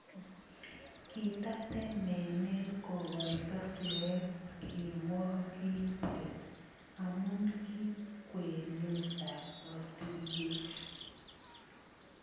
Kitatemeen kogoito siret kirwakiintet amu ki kwenutab botiryeek